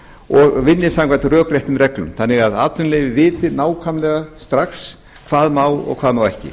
og vinni samkvæmt rökréttum reglum þannig að atvinnuleyfi viti nákvæmlega strax hvað má og hvað má ekki